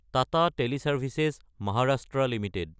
Tata teleservices (Maharashtra) Ltd